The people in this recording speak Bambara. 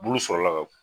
Bulu sɔrɔla ka